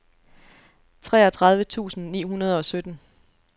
treogtredive tusind ni hundrede og sytten